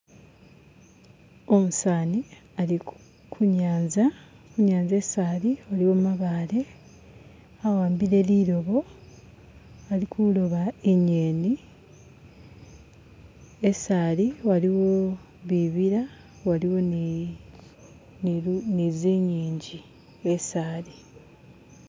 Umuseza alikunyanza, kunyanza isi ali aliwo gamabale awambile gumulobo alikuloba inyeni. Esi ali aliwo bibila waliwo nizinyinji esi ali